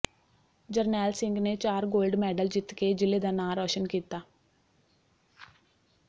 ਜਰਨੈਲ ਸਿੰਘ ਨੇ ਚਾਰ gold medal ਜਿੱਤ ਕੇ ਜ਼ਿਲ੍ਹੇ ਦਾ ਨਾਂਅ ਰੌਸ਼ਨ ਕੀਤਾ